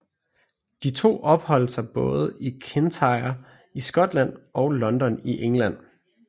De to opholdt sig både i Kintyre i Skotland og London i England